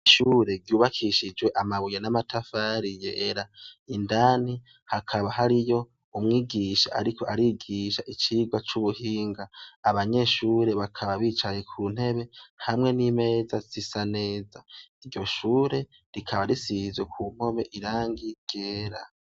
Ishure ryubakishijwe amabuye n'amatafari yera indani hakaba hariyo umwigisha ariko arigisha icigwa cubuhinga abanyeshure bakaba bicaye kuntebe hamwe n' imeza zisa neza iryo shure rikaba risizwe kumpome irangi ryera .